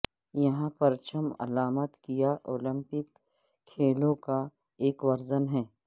یہاں پرچم علامت کیا اولمپک کھیلوں کا ایک ورژن ہے